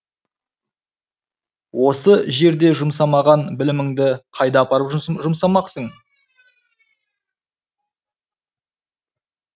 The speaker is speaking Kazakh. осы жерде жұмсамаған біліміңді қайда апарып жұмсамақсың